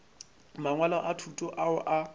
mangwalo a thuto ao a